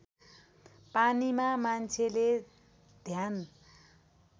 पानीमा मान्छेले ध्यान